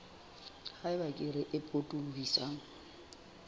ha eba kere e potolohisang